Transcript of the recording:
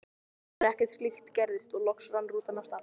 En ekkert slíkt gerðist og loks rann rútan af stað.